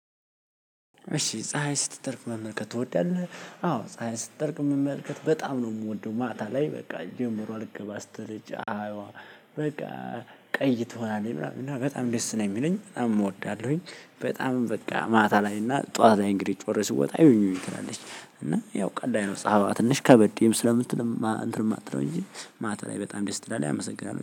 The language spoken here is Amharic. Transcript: እሺ ፀሀይ ስትጠልቅ መመልከት ትወዳለህ? አዎ ፀሀይ ስትጠልቅ መመልከት በጣም ነው የምወደው ማታ ላይ በቃ ጀምሮ አልገባም ስትል ፀሀይዋ። በቃ ቀይ ትሆናለች ምናምን በጣም ደስ ነው የሚለኝ በጣም እወዳለሁኝ። በጣምም በቃ ማታ ላይ እና ጠዋት ላይ እንግዲህ ጮሬ ስወጣ እዩኝ እዩኝ ትላለች። እና ያው ቀን ላይ ነው ጸሐፊ ትንሽ ከበድ ስለምትል እንትን የማትለው እንጂ ማታ ላይ በጣም ደስ ትላለች። አመሰግናለሁ